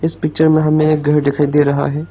इस पिक्चर में हमें एक घर दिखाई दे रहा है।